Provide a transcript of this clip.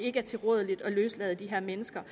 er tilrådeligt at løslade de her mennesker